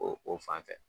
O o fan fɛ